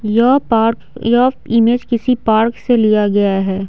यह पार्क यह इमेज किसी पार्क से लिया गया है।